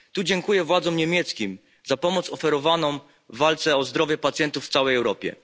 Tu dziękuję władzom niemieckim za pomoc oferowaną w walce o zdrowie pacjentów w całej Europie.